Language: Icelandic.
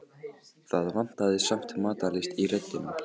Það vantaði samt matarlyst í röddina.